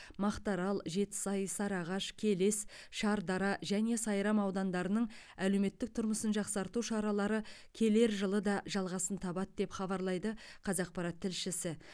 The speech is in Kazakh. мақтаарал жетісай сарыағаш келес шардара және сайрам аудандарының әлеуметтік тұрмысын жақсарту шаралары келер жылы да жалғасын табады деп хабарлайды қазақпарат тілшісі